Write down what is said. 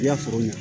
I y'a faamu